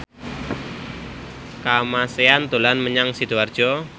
Kamasean dolan menyang Sidoarjo